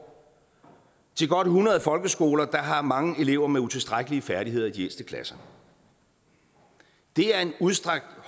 til godt hundrede folkeskoler der har mange elever med utilstrækkelige færdigheder i de ældste klasser det er en udstrakt